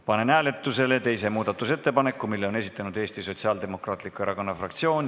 Panen hääletusele teise muudatusettepaneku, mille on esitanud Eesti Sotsiaaldemokraatliku Erakonna fraktsioon.